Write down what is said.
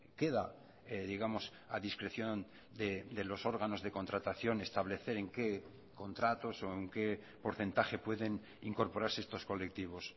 queda digamos a discreción de los órganos de contratación establecer en qué contratos o en qué porcentaje pueden incorporarse estos colectivos